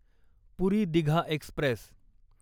पुरी Digha Express